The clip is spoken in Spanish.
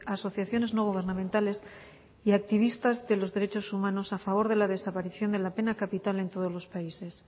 asociaciones no gubernamentales y activistas de los derechos humanos a favor de la desaparición de la pena capital en todos lo países